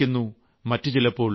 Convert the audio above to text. ചിലപ്പോൾ അമ്മ മരിക്കുന്നു